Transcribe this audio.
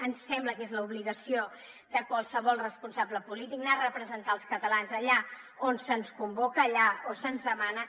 ens sembla que és l’obligació de qualsevol responsable polític anar a representar els catalans allà on se’ns convoca allà on se’ns demana